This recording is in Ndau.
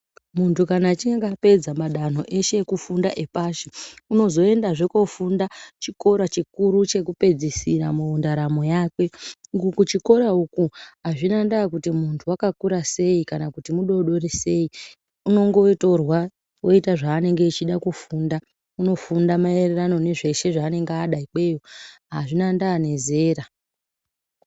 Muntu kana achinge apedza madanho eshe ekufunda epashi unozoendazve kofunda chikora chikuru chekupedzisira mundaramo yakwe uku kuchikora uku hazvina ndaa kuti muntu wakakura seyi kana kuti mudodori sei unongotorwa oita zvaanenge achida kufunda unofunda maererano nezveshe zvaanenge achida kufunda nezveshe zvaanenge ada ikweyo azvina ndaa nezera